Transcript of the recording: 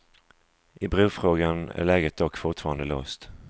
I brofrågan är läget dock fortfarande låst.